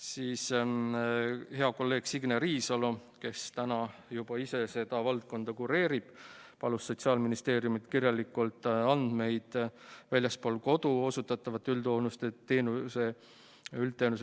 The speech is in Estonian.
Siis hea kolleeg Signe Riisalo, kes täna juba ise seda valdkonda kureerib, palus Sotsiaalministeeriumilt kirjalikke andmeid väljaspool kodu osutatavate üldhooldusteenuse